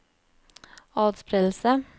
atspredelse